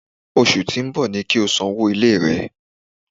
Osù tí ń bọ̀ ni kí o sanwó ilé rẹ!